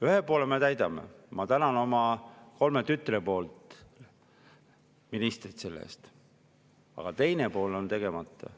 Ühe poole me täidame – selle eest ma tänan ministrit oma kolme tütre nimel –, aga teine pool on tegemata.